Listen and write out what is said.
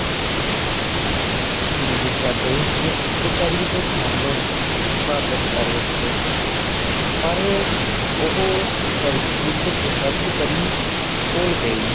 ਮਿਰਜਾਦੇ ਨੇ ਇੱਕ ਪਰੀ ਦੇ ਖੱਬ ਵਾਪਸ ਕਰ ਦਿੱਤੇ ਪਰ ਉਹ ਪਰੀ ਉੱਡ ਕੇ ਸਬਜ ਪਰੀ ਕੋਲ ਗਈ